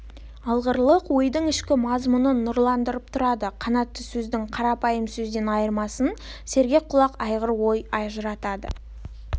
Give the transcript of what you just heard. алғырлық ойдың ішкі мазмұнын нұрландырып тұрады қанатты сөздің қарапайым сөзден айырмасын сергек құлақ алғыр ой ажыратады